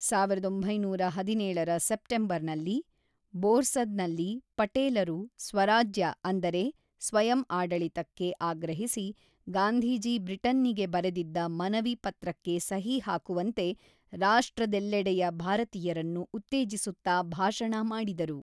ಸಾವಿರದ ಒಂಬೈನೂರ ಹದಿನೇಳರ ಸೆಪ್ಟೆಂಬರ್‌ನಲ್ಲಿ, ಬೋರ್ಸದ್‌ನಲ್ಲಿ, ಪಟೇಲರು, ಸ್ವರಾಜ್ಯ ಅಂದರೆ ಸ್ವಯಂ ಆಡಳಿತಕ್ಕೆ ಆಗ್ರಹಿಸಿ ಗಾಂಧೀಜಿ ಬ್ರಿಟನ್ನಿಗೆ ಬರೆದಿದ್ದ ಮನವಿ-ಪತ್ರಕ್ಕೆ ಸಹಿ ಹಾಕುವಂತೆ ರಾಷ್ಟ್ರದೆಲ್ಲೆಡೆಯ ಭಾರತೀಯರನ್ನು ಉತ್ತೇಜಿಸುತ್ತಾ ಭಾಷಣ ಮಾಡಿದರು.